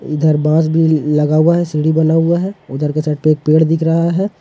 इधर बांस बीली लगा हुआ है सीढ़ी बना हुआ है उधर की साइड पे एक पेड़ दिख रहे है।